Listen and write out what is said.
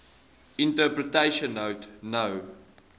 interpretation note no